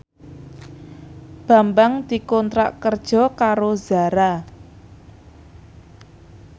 Bambang dikontrak kerja karo Zara